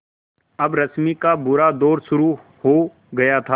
अब रश्मि का बुरा दौर शुरू हो गया था